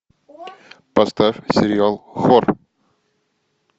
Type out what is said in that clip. поставь сериал хор